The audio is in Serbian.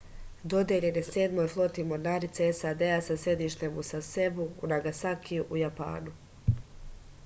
dodeljen je sedmoj floti mornarice sad sa sedištem u sasebu u nagasakiju u japanu